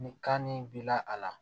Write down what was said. Ni kan nin b'i la a la